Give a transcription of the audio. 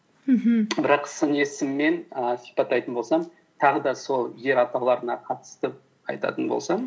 мхм бірақ сын есіммен ііі сипаттайтын болсам тағы да сол жер атауларына қатысты айтатын болсам